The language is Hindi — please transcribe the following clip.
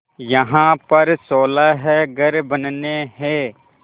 यहाँ पर सोलह घर बनने हैं